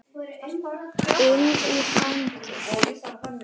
Inn í fangið.